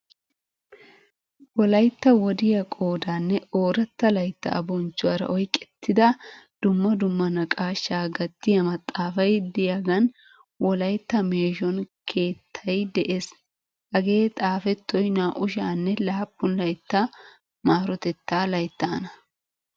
Wolaytta wodiya qoodanne ooratta laytta bonchchuwaara oyqqettida dumma dumma naaqashsha gatiyaa maxaafaay de'iyagan wolaytta meeshshon keettay de'ees. Hagee xaafettoy naa'u sha'anne laappun laytta marotetta layttaana.